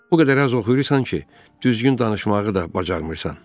O qədər az oxuyursan ki, düzgün danışmağı da bacarmırsan.